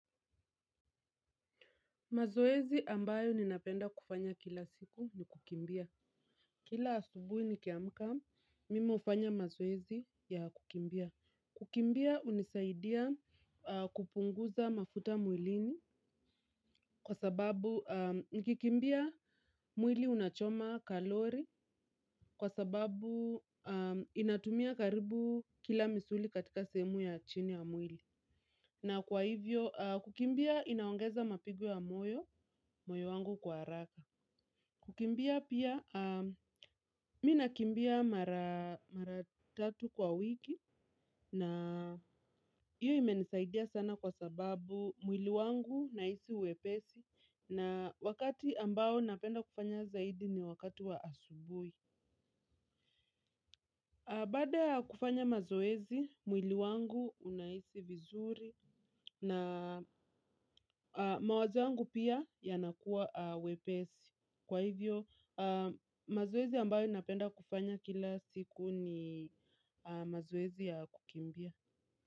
Mazoezi ambayo ninapenda kufanya kila siku ni kukimbia. Kila asubuhi nikiamka mimi hufanya mazoezi ya kukimbia. Kukimbia hunisaidia kupunguza mafuta mwilini. Kwa sababu, nikikimbia mwili unachoma kalori. Kwa sababu, inatumia karibu kila misuli katika sehemu ya chini ya mwili. Na kwa hivyo, kukimbia inaongeza mapigo ya moyo, moyo wangu kwa haraka. Kukimbia pia, mimi nakimbia mara tatu kwa wiki na hiyo imenisaidia sana kwa sababu mwili wangu nahisi wepesi na wakati ambao napenda kufanya zaidi ni wakati wa asubuhi. Baada kufanya mazoezi, mwili wangu unahisi vizuri na mawazo yangu pia yanakua wepesi. Kwa hivyo, mazoezi ambayo ninapenda kufanya kila siku ni mazoezi ya kukimbia.